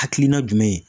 Hakilina jumɛn ye